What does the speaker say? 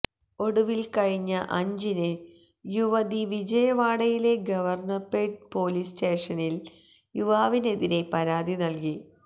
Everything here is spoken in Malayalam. ഒടുവില് കഴിഞ്ഞ അഞ്ചിന് യുവതി വിജയവാഡയിലെ ഗവര്ണര്പേട്ട് പോലീസ് സ്റ്റേഷനില് യുവാവിനെതിരേ പരാതി നല്കി